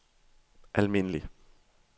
almindelig